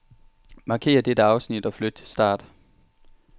Markér dette afsnit og flyt til start.